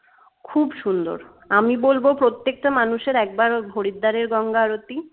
খুব সুন্দর আমি বলব প্রত্যেকটা মানুষের একবার হরিদ্বারের গঙ্গা আরতি